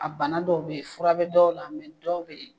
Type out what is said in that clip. A bana dɔw be ye fura bɛ dɔw la dɔw be ye